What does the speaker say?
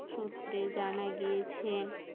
সূত্রে জানা গেছে